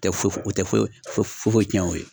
u tɛ ɛ foyi tɛ foyi foyi tiɲɛ o ye